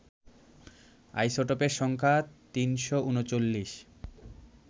আইসোটোপের সংখ্যা ৩৩৯